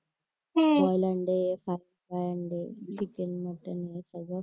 हम्म